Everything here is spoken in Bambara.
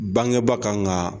Bangebaa kan k'a ta